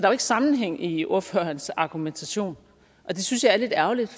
jo ikke sammenhæng i ordførerens argumentation og det synes jeg er lidt ærgerligt